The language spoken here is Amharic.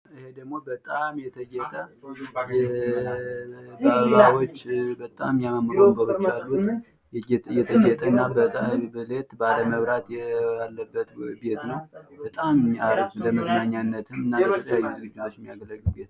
ይህ ደግሞ በጣም የተጌጠና መብራት ያለነት ቤት ነው። ለመዝናኛነት በጣም ሃሪፍ ነው።